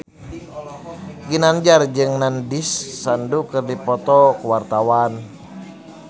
Ginanjar jeung Nandish Sandhu keur dipoto ku wartawan